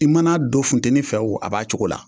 I man'a don funtɛni fɛ o a b'a cogo la.